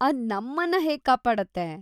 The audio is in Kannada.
ಅದ್‌ ನಮ್ಮನ್ನ ಹೇಗ್‌ ಕಾಪಾಡತ್ತೆ?